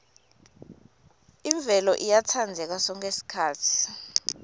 imvelo iyatsandzeka sonkhe sikhatsi